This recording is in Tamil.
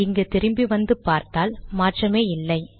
இங்கு திரும்பி வந்து பார்த்தால் மாற்றமே இல்லை